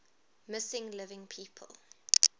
missing living people